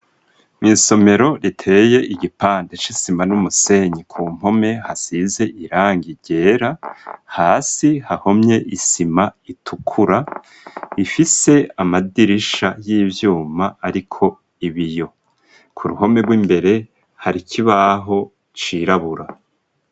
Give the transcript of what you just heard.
Mw'isomero riteye igipande c'isima n'umusenyi, ku mpome hasize irangi ryera, hasi hahomye isima itukura, ifise amadirisha y'ivyuma ariko ibiyo. Ku ruhome rw'imbere hari ikibaho cirabura.